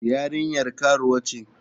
Yarinyar karuwa ce.